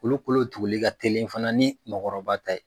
Olu kolo tuguli ka teli fana ni mɔgɔkɔrɔba ta ye